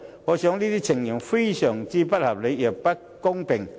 我認為這些情況非常不合理，亦不公平。